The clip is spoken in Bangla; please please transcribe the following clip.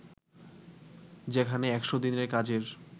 যেখানে ১০০ দিনের কাজের